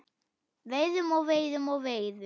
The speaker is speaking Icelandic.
Veiðum og veiðum og veiðum.